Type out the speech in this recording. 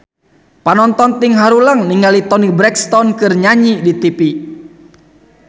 Panonton ting haruleng ningali Toni Brexton keur nyanyi di tipi